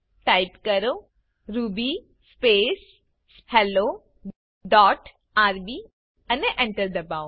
type કરો ruby space hello dot RB અને Enter દબાઓ